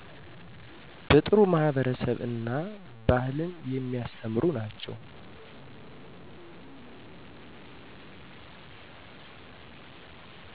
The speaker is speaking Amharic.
በጥሩ ማህበረሰብ እና ባህልን የሚያስተምሩ ናቸው